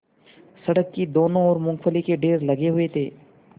सड़क की दोनों ओर मूँगफली के ढेर लगे हुए थे